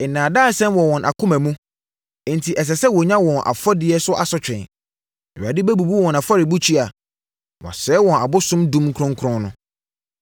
Nnaadaasɛm wɔ wɔn akoma mu, enti ɛsɛ sɛ wɔnya wɔn afɔdie so asotwe. Awurade bɛbubu wɔn afɔrebukyia, na wasɛe wɔn abosom dum kronkron no.